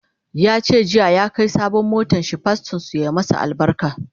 yace jiya ya Kai sabon motanshi pastorn su ya sa masa albarka